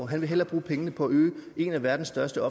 han vil hellere bruge pengene på at øge en af verdens største